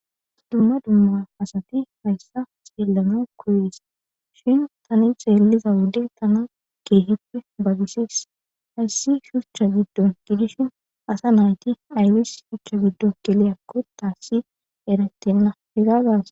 dumma dumma asati hayssa xeellana koyees shin tani xeelliza wode tana keehippe babisees hayssi shuchcha giddon gidishin asa nayti aybis shuchcha giddon geleyakko taassi eretenna hega gaas